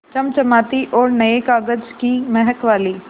चमचमाती और नये कागज़ की महक वाली